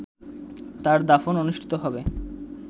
তার দাফন অনুষ্ঠিত হবে